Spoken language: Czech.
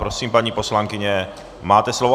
Prosím, paní poslankyně, máte slovo.